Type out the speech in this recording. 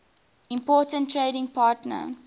important trading partner